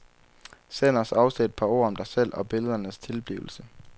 Send os også et par ord om dig selv og billedernes tilblivelse.